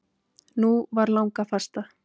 Nú var langafasta.